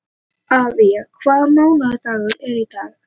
Avía, hvaða mánaðardagur er í dag?